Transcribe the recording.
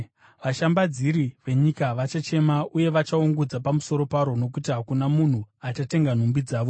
“Vashambadziri venyika vachachema uye vachaungudza pamusoro paro nokuti hakuna munhu achatenga nhumbi dzavozve,